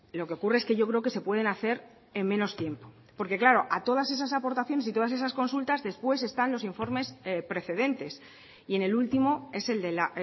lo que ocurre es que yo creo que se pueden hacer en menos tiempo porque claro a todas esas aportaciones y todas esas consultas después están los informes precedentes y en el último es el de la